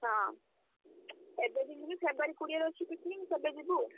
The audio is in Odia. ହଁ, ଏବେ ଯଦି ଯିବି February କୋଡିଏ ରେ picnic ସେବେ ଯିବୁ ଆଉ।